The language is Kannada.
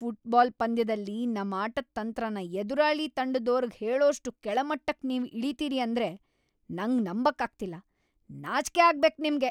ಫುಟ್ಬಾಲ್ ಪಂದ್ಯದಲ್ಲಿ ನಮ್ ಆಟದ್ ತಂತ್ರನ ಎದುರಾಳಿ ತಂಡದೋರ್ಗ್ ಹೇಳೋಷ್ಟ್‌ ಕೆಳಮಟ್ಟಕ್‌ ನೀವ್ ಇಳಿತೀರಿ ಅಂದ್ರೆ ನಂಗ್‌ ನಂಬಕ್ಕಾಗ್ತಿಲ್ಲ, ನಾಚ್ಕೆ ಆಗ್ಬೇಕ್‌ ನಿಮ್ಗೆ.